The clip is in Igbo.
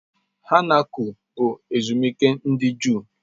Hanukkah bụ ezumike ndị Juu.